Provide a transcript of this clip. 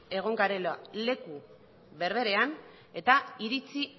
egon garela leku berberean eta iritzi